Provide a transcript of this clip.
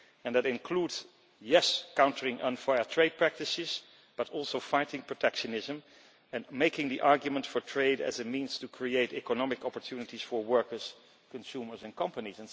That includes yes countering unfair trade practices, but it also includes fighting protectionism and making the argument for trade as a means to create economic opportunities for workers, consumers and companies.